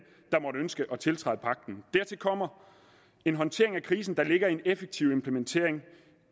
der måtte ønske at tiltræde pagten dertil kommer en håndtering af krisen der lægger en effektiv implementering